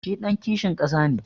Shi ɗan kishin ƙasa ne.